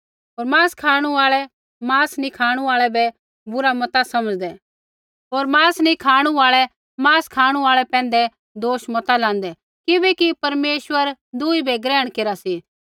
होर मांस खाँणु आल़ै मांस नी खाँणु आल़ै बै बुरा मत समझदे होर मांस नी खाँणु आल़ै मांस खाँणु आल़ै पैंधै दोष मता लांदै किबैकि परमेश्वर दुई बै ग्रहण केरा सी